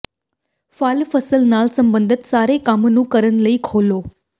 ਫਲ ਫਸਲ ਨਾਲ ਸਬੰਧਤ ਸਾਰੇ ਕੰਮ ਨੂੰ ਕਰਨ ਲਈ ਖੋਲੋ